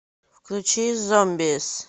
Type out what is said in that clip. включи зомбиз